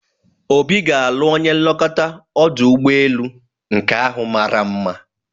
Obi ga-alụ onye nlekọta ọdụ ụgbọelu nke ahụ mara mma